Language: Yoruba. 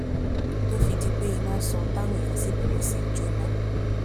tó fi di pé iná sọ táwọn èèyàn sì bẹrẹ sí í jóná